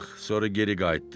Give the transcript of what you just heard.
Sonra geri qayıtdıq.